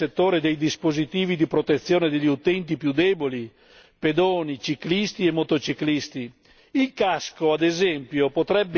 Dobbiamo promuovere la ricerca nel settore dei dispositivi di protezione degli utenti più deboli pedoni, ciclisti e motociclisti.